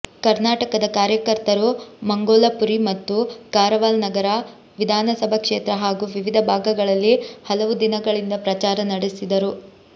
ಕರ್ನಾಟಕದ ಕಾರ್ಯಕರ್ತರು ಮಂಗೋಲಪುರಿ ಮತ್ತು ಕಾರವಾಲ್ ನಗರ ವಿಧಾನಸಭಾ ಕ್ಷೇತ್ರ ಹಾಗೂ ವಿವಿಧ ಭಾಗಗಳಲ್ಲಿ ಹಲವು ದಿನಗಳಿಂದ ಪ್ರಚಾರ ನಡೆಸಿದರು